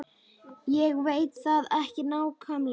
Ég veit það ekki nákvæmlega.